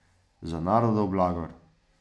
Za narodov blagor.